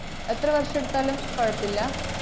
എത്ര വര്‍ഷെടുത്താലും കൊഴപ്പില്ല?